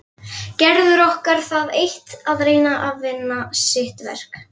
Gerður orkar það eitt að reyna að vinna sitt verk.